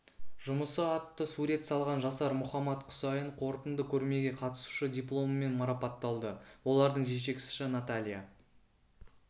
жұмысы атты сурет салған жасар мұхаммад құсайын қорытынды көрмеге қатысушы дипломымен марапатталды олардың жетекшісі наталья